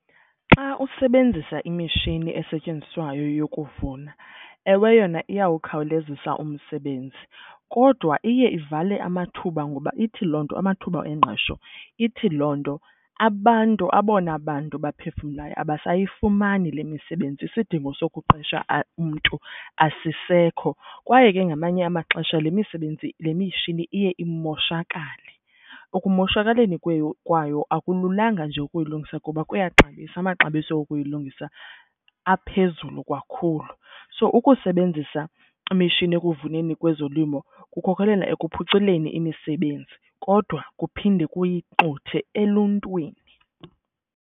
Xa usebenzisa imitshini esetyenziswayo yokuvuna, ewe yona iyawukhawulezisa umsebenzi kodwa iye ivale amathuba ngoba ithi loo nto amathuba engqesho, ithi loo nto abantu abona bantu baphefumlayo abasayifumani le misebenzi isidingo sokuqesha umntu asisisekho. Kwaye ke ngamanye amaxesha le misebenzi le mitshini iye imoshakale, ekumoshakaleni kwayo akululanga nje ukuyilungisa kuba kuyaxabisa, amaxabiso okuyilungisa aphezulu kakhulu. So ukusebenzisa imishini ekuvuneni kwezolimo kukhokelela ekuphuculeni imisebenzi kodwa kuphinde kuyixuthe eluntwini.